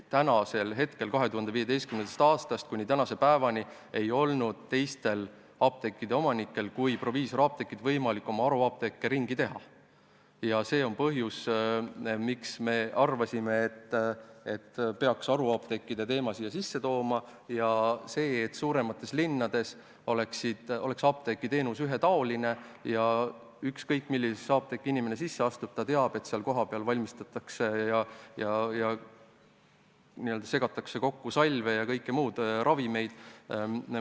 2015. aastast kuni tänase päevani ei olnud teiste apteekide kui üksnes proviisorapteekide omanikel võimalik oma haruapteeke ringi teha ja see on ka põhjus, miks me arvasime, et peaksime eelnõusse sisse tooma haruapteekide teema ja selle, et suuremates linnades oleks apteegiteenus ühetaoline, nii et ükskõik, millisesse apteeki inimene sisse astub, teab ta, et seal valmistatakse ja n-ö segatakse kokku salve ja kõiki muid vajalikke ravimeid.